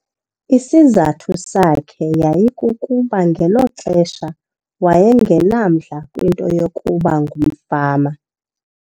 Isizathu sakhe yayikukuba ngelo xesha waye ngenamdla kwinto yokuba ngumfama.